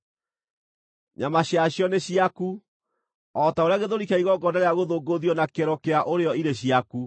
Nyama ciacio nĩ ciaku, o ta ũrĩa gĩthũri kĩa igongona rĩa gũthũngũthio na kĩero kĩa ũrĩo irĩ ciaku.